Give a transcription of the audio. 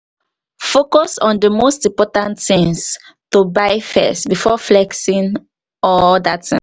focus on di most important things to buy first before flexing or oda things